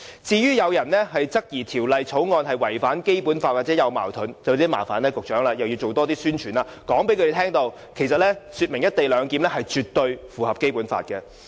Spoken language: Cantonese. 至於有議員質疑《條例草案》違反《基本法》或與《基本法》有矛盾，便要麻煩局長多進行宣傳，向他們說明"一地兩檢"絕對符合《基本法》。